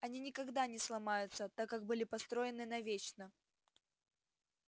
они никогда не сломаются так как были построены навечно